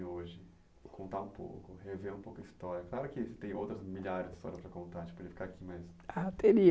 hoje, contar um pouco, rever um pouco a história. Claro que tem outras milhares de histórias para contar, a gente podia ficar aqui mais. Ah, teria